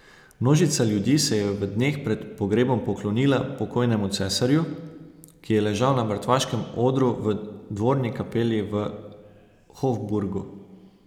Množica ljudi se je v dneh pred pogrebom poklonila pokojnemu cesarju, ki je ležal na mrtvaškem odru v dvorni kapeli v Hofburgu.